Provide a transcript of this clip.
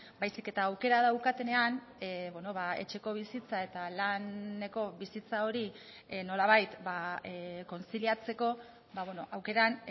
baizik eta aukera daukatenean etxeko bizitza eta laneko bizitza hori nolabait kontziliatzeko aukeran